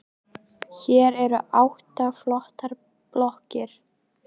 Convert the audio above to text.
Hér eru átta flottar blokkir.